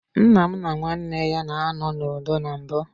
Nnam na nwanne ya na anọ n'udo na mbụ.